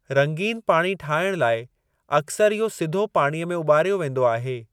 रंगीन पाणी ठाइण लाए अक्‍सर इहो सिधो पाणीअ में उॿार्यो वेंदो आहे।